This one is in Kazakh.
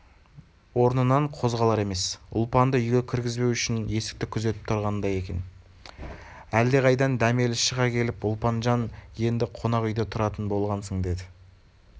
орнынан қозғалар емес ұлпанды үйге кіргізбеу үшін есікті күзетіп тұрғандай екен әлдеқайдан дәмелі шыға келіп ұлпанжан енді қонақ үйде тұратын болғансың деді